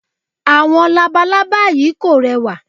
Àwọn labalábá yí kò rẹwà.